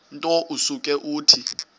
nto usuke uthi